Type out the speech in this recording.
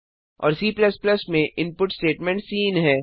और C में input स्टेटमेंटcin है